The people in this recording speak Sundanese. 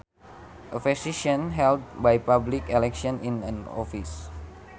A position held by public election is an office